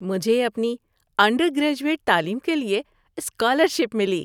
مجھے اپنی undergraduate تعلیم کے لیے اسکالرشپ ملی۔